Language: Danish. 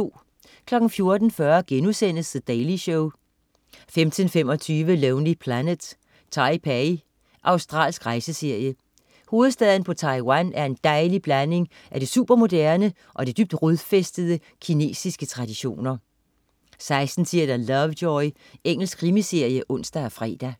14.40 The Daily Show* 15.25 Lonely Planet: Taipei. Australsk rejseserie. Hovedstaden på Taiwan er en dejlig blanding af det supermoderne og dybt rodfæstede kinesiske traditioner 16.10 Lovejoy. Engelsk krimiserie (ons og fre)